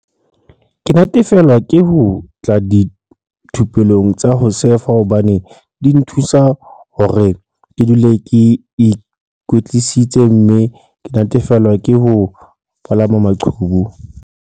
"Ke natefelwa ke ho tla dithupelong tsa ho sefa hobane di nthusa hore ke dule ke ikwetlisitse mme ke natefelwa ke ho palama maqhubu."